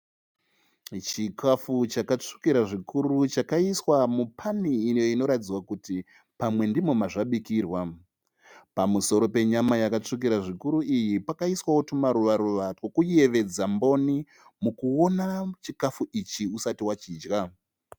Chikafu chakatsvukira zvikuru chakaiswa mupani iyo inoratidza kuti pamwe ndimo mazvabikirwa. Pamusoro penyama yakatsvukira zvikuru iyi pakaiswawo tumaruva ruva twekuyevedza mboni mukuona chikafu ichi usati wachidya.